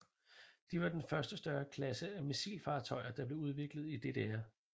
De var den første større klasse af missilfartøjer der blev udviklet i DDR